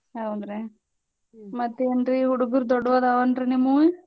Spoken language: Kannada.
ಹೌದ್ರ್ಯಾ ಮತ್ತೇನ್ರೀ ಹುಡ್ಗೂರ್ ದೊಡ್ವದಾವೇನ್ರಿ ನಿಮ್ವೂ?